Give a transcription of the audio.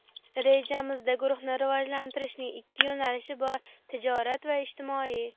Rejamizda guruhni rivojlantirishning ikki yo‘nalishi bor: tijorat va ijtimoiy.